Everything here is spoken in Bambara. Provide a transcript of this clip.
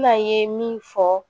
N'an ye min fɔ